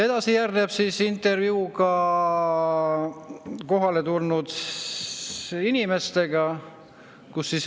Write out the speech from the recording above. Edasi järgneb intervjuu kohale tulnud inimestega.